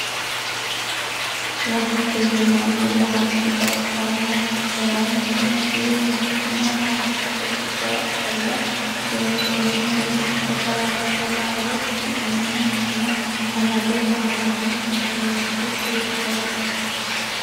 Wahete yinanni laalchi baxisanoho sonisino duumoho guma baattote giddora qolle dumbenna rumuxe dararcho laale isi iima guma amade laalano laalote sirchoti.